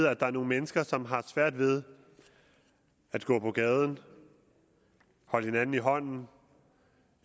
at der er nogle mennesker som har svært ved at gå på gaden holde hinanden i hånden